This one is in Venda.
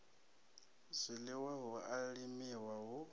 zwiḽiwa hu a limiwa hu